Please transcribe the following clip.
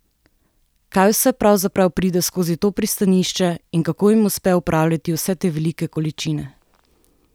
Kaj vse pravzaprav pride skozi to pristanišče in kako jim uspe upravljati vse te velike količine?